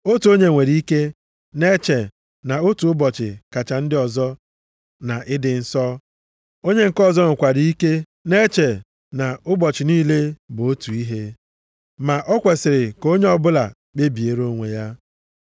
Otu onye nwere ike na-eche na otu ụbọchị kacha ndị ọzọ na ịdị nsọ, onye nke ọzọ nwekwara ike na-eche na ụbọchị niile bụ otu ihe, ma o kwesiri ka onye ọbụla kpebiere onwe ya.